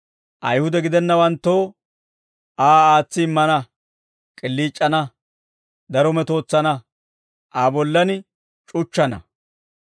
Ayihude gidennawanttoo Aa aatsi immana, k'iliic'ana, daro metootsana, Aa bollan c'uchchana;